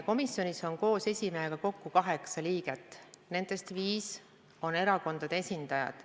Komisjonis on koos teie ees esinejaga kokku kaheksa liiget, nendest viis on erakondade esindajad.